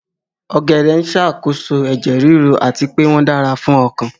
Ogede n ṣe isakoso ẹjẹ riru ati pe wọn dara fun ọkan